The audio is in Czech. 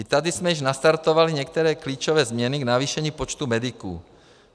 I tady jsme již nastartovali některé klíčové změny v navýšení počtu mediků.